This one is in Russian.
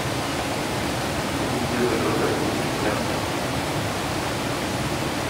где заказать лучше мяса